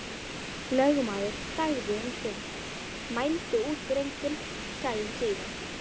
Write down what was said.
Lögmaður þagði um stund, mældi út drenginn, sagði síðan: